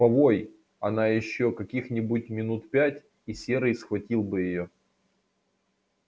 повой она ещё каких-нибудь минут пять и серый схватил бы её